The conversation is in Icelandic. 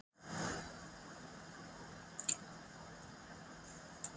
Af hverju ætti ég svo að vilja fara þegar liðið er á svona góðu róli?